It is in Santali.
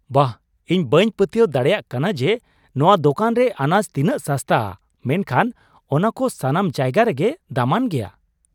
ᱵᱟᱦ, ᱤᱧ ᱵᱟᱹᱧ ᱯᱟᱹᱛᱭᱟᱹᱣ ᱫᱟᱲᱮᱭᱟᱜ ᱠᱟᱱᱟ ᱡᱮ ᱱᱚᱶᱟ ᱫᱚᱠᱟᱱ ᱨᱮ ᱟᱱᱟᱡ ᱛᱤᱱᱟᱹᱜ ᱥᱟᱥᱛᱟᱼᱟ ,ᱢᱮᱱᱠᱷᱟᱱ ᱚᱱᱟᱠᱚ ᱥᱟᱱᱟᱢ ᱡᱟᱭᱜᱟ ᱨᱮᱜᱮ ᱫᱟᱢᱟᱱ ᱜᱮᱭᱟ ᱾